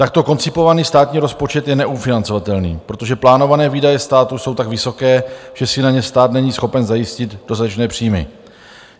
Takto koncipovaný státní rozpočet je neufinancovatelný, protože plánované výdaje státu jsou tak vysoké, že si na ně stát není schopen zajistit dostatečné příjmy.